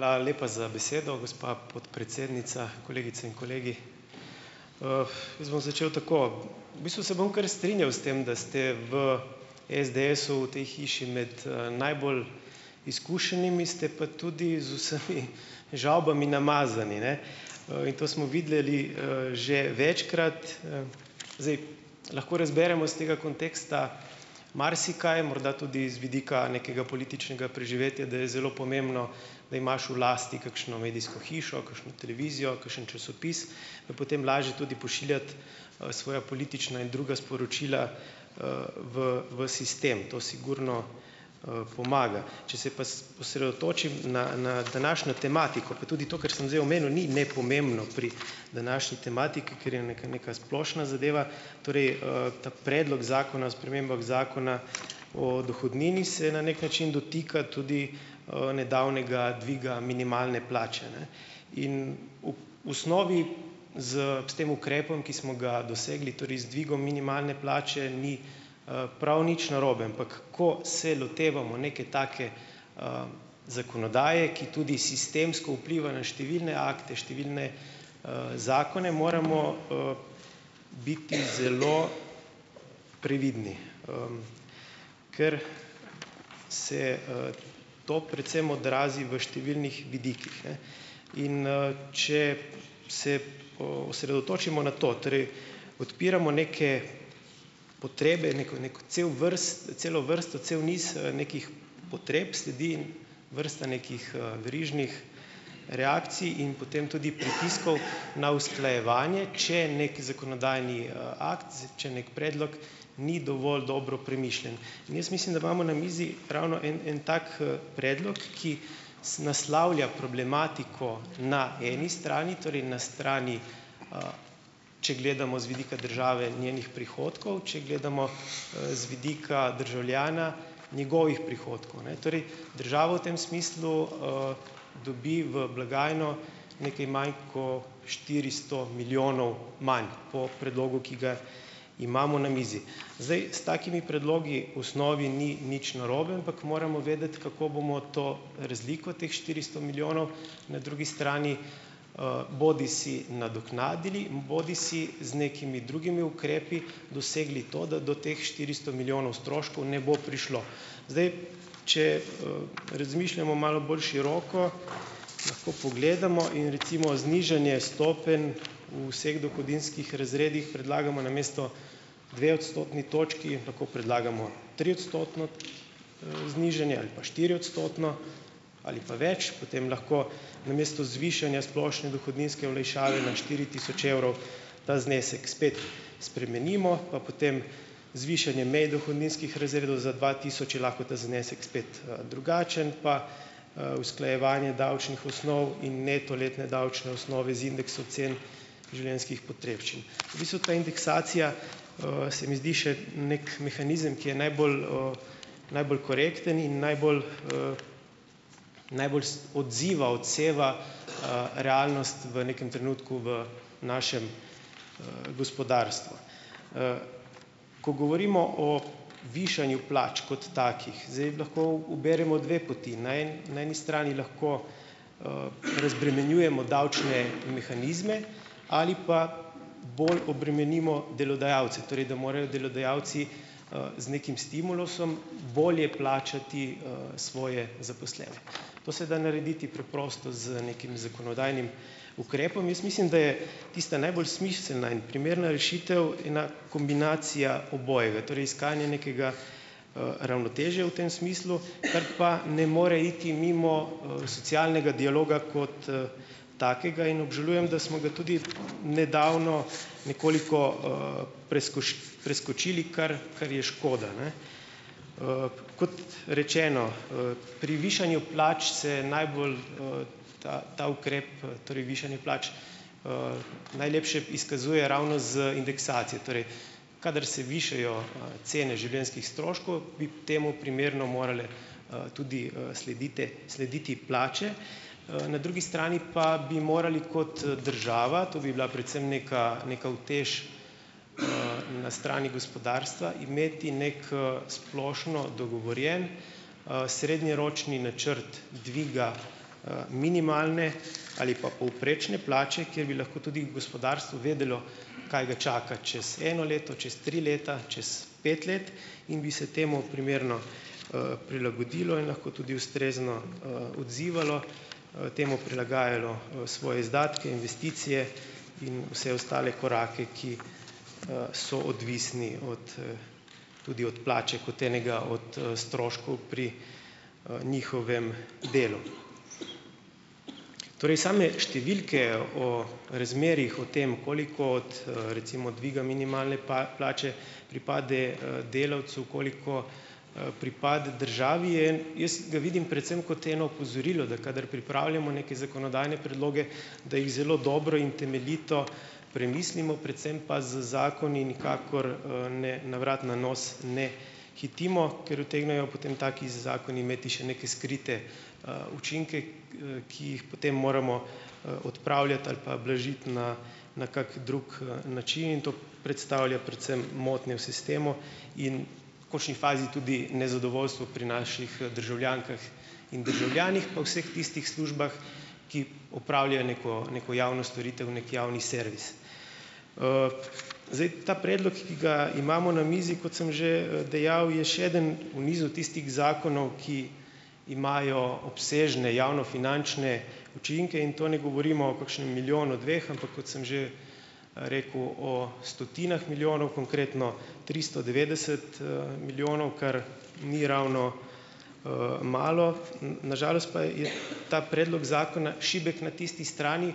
Hvala lepa za besedo, gospa podpredsednica. Kolegice in kolegi! Jaz bom začel tako. V bistvu se bom kar strinjal s tem, da ste v SDS-u v tej hiši med, najbolj izkušenimi, ste pa tudi z vsemi žavbami namazane, ne, in to smo videli, že večkrat. Lahko razberemo s tega konteksta marsikaj, morda tudi z vidika nekega političnega preživetja, da je zelo pomembno, da imaš v lasti kkšno medijsko hišo, kakšno televizijo, kakšen časopis, pa potem lažje tudi pošiljati, svoja politična in druga sporočila, v, v sistem. To sigurno, pomaga. Če se pa osredotočim na, na današnjo tematiko pa tudi to, kar sem zdaj omenil, ni nepomembno pri današnji tematiki, ker je neka, neka splošna zadeva, torej, ta predlog zakona o spremembah Zakona o dohodnini, se na neki način dotika tudi, nedavnega dviga minimalne plače, ne. In v osnovi s, s tem ukrepom, ki smo ga dosegli, torej z dvigom minimalne plače ni, prav nič narobe, ampak ko se lotevamo neke take zakonodaje, ki tudi sistemsko vpliva na številne akte, številne, zakone, moramo biti zelo previdni, ker se to predvsem odrazi v številnih vidikih, ne. Ine, če se osredotočimo na to, torej odpiramo neke potrebe, neko cel celo vrsto, cel niz, nekih potreb, sledi vrsta nekih, verižnih reakcij in potem tudi pritiskov na usklajevanje, če neki zakonodajni akt, če neki predlog ni dovolj dobro premišljen, in jaz mislim, da imamo na mizi ravno en en tak, predlog, ki naslavlja problematiko na eni strani, torej na strani, če gledamo z vidika države in njenih prihodkov, če gledamo, z vidika državljana, njegovih prihodkov, ne. Torej, državo v tem smislu, dobi v blagajno nekaj manj kot štiristo milijonov manj po predlogu, ki ga imamo na mizi. Zdaj, s takimi predlogi osnovi ni nič narobe, ampak moramo vedeti, kako bomo to razliko teh štiristo milijonov na drugi strani bodisi nadoknadili in bodisi z nekimi drugimi ukrepi dosegli to, da do teh štiristo milijonov stroškov ne bo prišlo. Zdaj, če, razmišljamo malo bolj široko, lahko pogledamo in recimo znižanje stopenj v vseh dohodninskih razredih predlagamo namesto dve odstotni točki tako predlagamo triodstotno, znižanje ali pa štiriodstotno ali pa več, potem lahko namesto zvišanja splošne dohodninske olajšave na štiri tisoč evrov ta znesek spet spremenimo, pa potem zvišanje mi dohodninskih razredov za dva tisoč je lahko ta znesek spet, drugačen, pa, usklajevanje davčnih osnov in neto letne davčne osnove z indeks ocen življenjskih potrebščin. V bistvu ta indeksacija, se mi zdi še neki mehanizem, ki je najbolj, najbolj korekten in najbolj najbolj odziva, odseva, realnost v nekem trenutku v našem gospodarstvu. Ko govorimo o višanju plač kot takih, zdaj lahko uberemo dve poti. Na, na eni strani lahko, razbremenjujemo davčne mehanizme ali pa bolj obremenimo delodajalce, torej, da morajo delodajalci, z nekim stimulusom bolje plačati, svoje zaposlene. To se da narediti preprosto z nekim zakonodajnim ukrepom. Jaz mislim, da je tista najbolj smiselna in primerna rešitev ena kombinacija obojega, torej iskanje nekega, ravnotežja v tem smislu, kar pa ne more iti mimo, socialnega dialoga kot takega in obžalujem, da smo ga tudi nedavno nekoliko, preskočili, kar, kar je škoda, ne. Rečeno, pri višanju plač se najbolj ta, ta ukrep, torej višanje plač najlepše izkazuje ravno z indeksacijo. Torej, kadar se višajo, cene življenjskih stroškov bi temu primerno morale, tudi sledite, slediti plače. Na drugi strani pa bi morali kot država, to bi bila predvsem neka, neka utež, na strani gospodarstva, imeti neki, splošno dogovorjen, srednjeročni načrt dviga, minimalne, ali pa povprečne plače, kjer bi lahko tudi gospodarstvo vedelo, kaj ga čaka čez eno leto, čez tri leta, čez pet let, in bi se temu primerno, prilagodilo in lahko tudi ustrezno, odzivalo, temu prilagajalo, svoje izdatke, investicije in vse ostale korake, ki, so odvisni od, tudi od plače kot enega od, stroškov pri, njihovem delu. Torej, same številke o razmerjih o tem, koliko od, recimo, dviga minimalne plače pripade, delavcu, koliko, pripade državi, je. Jaz ga vidim predvsem kot eno opozorilo, da kadar pripravljamo neke zakonodajne predloge, da jih zelo dobro in temeljito premislimo, predvsem pa z zakoni nikakor, ne na vrat na nos ne hitimo, ker utegnejo potem taki zakoni imeti še neke skrite, učinke, ki jih potem moramo, odpravljati ali pa blažiti na na kak drug način in to predstavlja predvsem motnje v sistemu in končni fazi tudi nezadovoljstvo pri naših državljankah in državljanih, pa vseh tistih službah, ki opravljajo neko neko javno storitev, neki javni servis. Zdaj, ta predlog, ki ga imamo na mizi, kot sem že dejal, je še eden v nizu tistih zakonov, ki imajo obsežne javnofinančne učinke, in to ne govorimo o kakšnem milijonu, dveh, ampak kot sem že rekel, o stotinah milijonov. Konkretno tristo devetdeset, milijonov, kar ni ravno malo. na žalost pa je ta predlog zakona šibek na tisti strani,